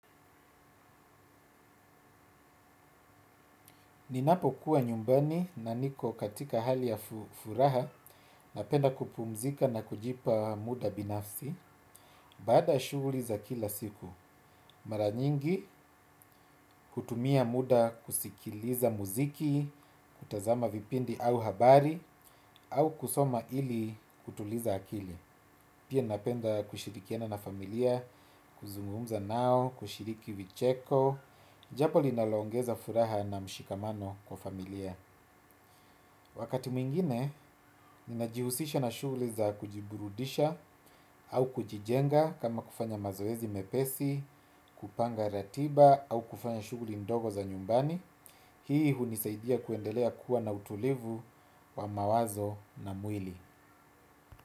Ninapokuwa nyumbani na niko katika hali ya furaha napenda kupumzika na kujipa muda binafsi baada shughuli za kila siku. Mara nyingi hutumia muda kuskiliza muziki, kutazama vipindi au habari au kusoma ili kutuliza akili. Pia napenda kushirikiana na familia, kuzungumza nao, kushiriki vicheko, jambo linaloongeza furaha na mshikamano kwa familia. Wakati mwingine, ninajihusisisha na shughuli za kujiburudisha au kujijenga kama kufanya mazoezi mepesi, kupanga ratiba au kufanya shughuli ndogo za nyumbani. Hii hunisaidia kuendelea kuwa na utulivu wa mawazo na mwili.